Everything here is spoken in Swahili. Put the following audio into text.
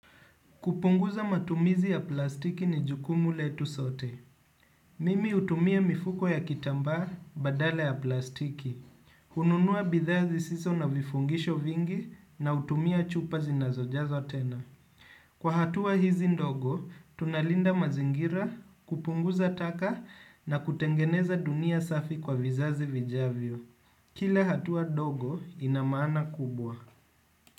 Kupunguza matumizi ya plastiki ni jukumu letu sote. Mimi hutumia mifuko ya kitamba badala ya plastiki. Kununua bidhaa zisizo na vifungisho vingi na hutumia chupa zinazo jazo tena. Kwa hatua hizi ndogo, tunalinda mazingira, kupunguza taka na kutengeneza dunia safi kwa vizazi vijavyo. Kila hatua ndogo inamana kubwa.